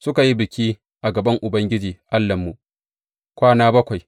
Suka yi biki a gaban Ubangiji Allahnmu, kwana bakwai.